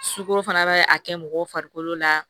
Sukoro fana bɛ a kɛ mɔgɔw farikolo la